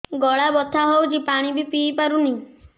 ଗଳା ବଥା ହଉଚି ପାଣି ବି ପିଇ ପାରୁନି